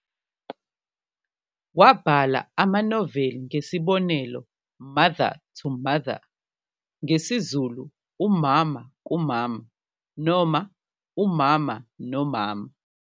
Wabhala amanoveli ngesibonelo "Mother to Mother", ngesiZulu "Umama kumama" noma "Umama nomama".